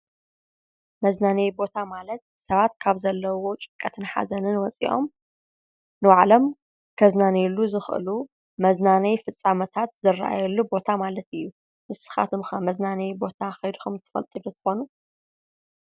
መዝናነዩ ቦታ ማለት ሰባት ካብ ዘለዎም ጭንቀትን ሓዘንን ወፂኦም ንባዕሎም ከዝናንይሉ ዝኽእሉ መዝናነይ ፍፃመታት ዝራኣየሉ ቦታ ማለት እዩ። ንስኻትኩም ከ መዝናነዩ ቦታ ከይድኩም ዶ ትፈልጡ ትኾኑ?